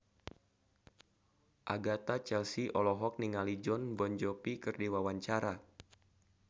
Agatha Chelsea olohok ningali Jon Bon Jovi keur diwawancara